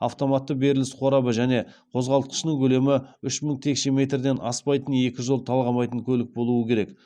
автоматты беріліс қорабы және қозғалтқышының көлемі үш мың текше метрден аспайтын екі жол талғамайтын көлік болуы керек